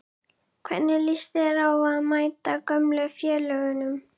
Hvernig lýst þér á að mæta gömlu félögunum?